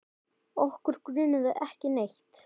Okkur grunaði ekki neitt.